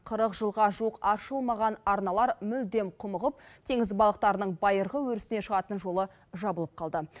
қырық жылға жуық аршылмаған арналар мүлдем құмығып теңіз балықтарының байырғы өрісіне шығатын жолы жабылып қалды